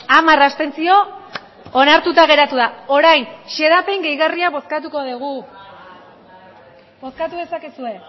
hamar abstentzio onartuta geratu da orain xedapen gehigarria bozkatuko dugu bozkatu dezakezue